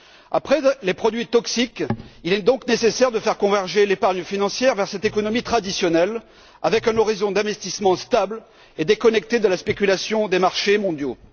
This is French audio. Après les produits toxiques, il est donc nécessaire de faire converger l'épargne financière vers cette économie traditionnelle avec un horizon d'investissement stable et déconnecté de la spéculation des marchés mondiaux.